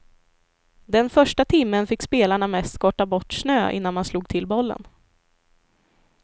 Den första timmen fick spelarna mest skotta bort snö innan man slog till bollen.